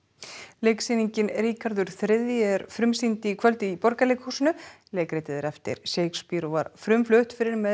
leiksýningin Ríkharður þriðji er frumsýnd í kvöld í Borgarleikhúsinu leikritið er eftir Shakespeare og var frumflutt fyrir meira